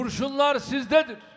Kurşunlar sizdədir.